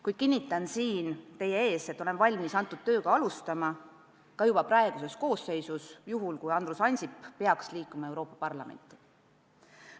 Kuid kinnitan siin teie ees, et olen valmis tööd alustama ka juba praeguses koosseisus, juhul kui Andrus Ansip peaks asuma Euroopa Parlamendi liikmeks.